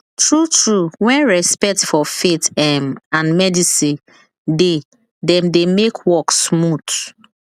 true true when respect for faith um and medicine de dem de make work smooth